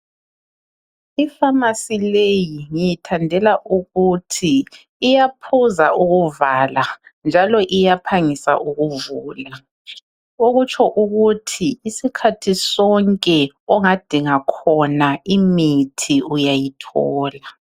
Iphamacy leyi ngiyithandela ukuthi iyaphuza ukuvala njalo iyaphangisa ukuvula. Okutsho ukuthi isikhathi sonke ongadinga khona imithi uyayithola.